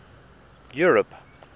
europe